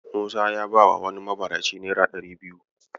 Musa ya bawa wani mabaraci naira ɗari biyu.